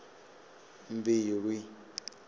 mbilwi